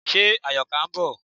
Ṣe Àyọ̀ká ń bọ̀?